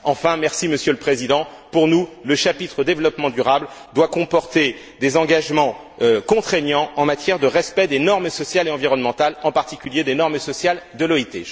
Enfin, merci Monsieur le Président, pour nous, le chapitre développement durable doit comporter des engagements contraignants en matière de respect des normes sociales et environnementales, en particulier des normes sociales de l'OIT.